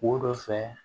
Wo dɔ fɛ